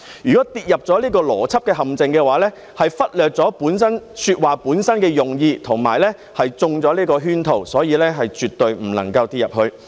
如果跌入這個邏輯陷阱，便是忽略了說話本身的用意和中了圈套，所以是絕對不能跌進這陷阱。